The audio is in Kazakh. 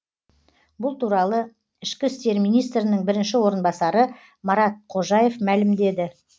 бұл туралы ішкі істер министрінің бірінші орынбасары марат қожаев мәлімдеді